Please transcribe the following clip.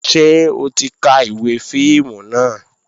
Ṣé o ti ka ìwé fíìmù náà?